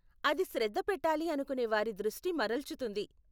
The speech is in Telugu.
అది శ్రద్ధ పెట్టాలి అనుకునే వారి దృష్టి మరల్చుతుంది.